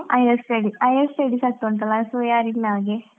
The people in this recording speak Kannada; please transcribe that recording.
Higher study higher studies ಆಗ್ತಾ ಉಂಟಲ್ಲಾ, so ಯಾರಿಲ್ಲಾ ಹಾಗೆ.